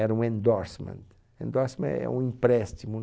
Era um endorsement, endorsement é é um empréstimo.